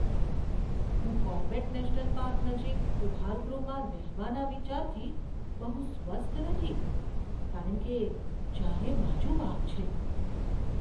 હું Corbett National Park નજીક ઉપહારગૃહમાં રહેવાના વિચારથી બહુ સ્વસ્થ નથી કારણ કે ચારે બાજુ વાઘ છે.